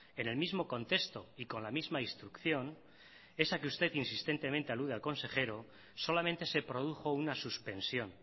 en el mismo contexto y con la misma instrucción esa que usted insistentemente alude al consejero solamente se produjo una suspensión